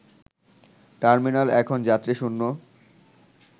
terminal এখন যাত্রীশূন্য